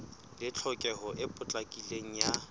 le tlhokeho e potlakileng ya